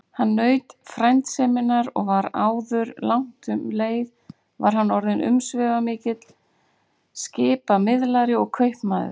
Hann naut frændseminnar og áður langt um leið var hann orðinn umsvifamikill skipamiðlari og kaupmaður.